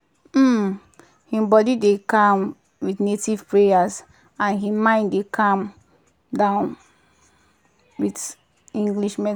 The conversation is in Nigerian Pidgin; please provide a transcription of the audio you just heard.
um him body dey calm with native prayers and him mind dey come down um with english medicine.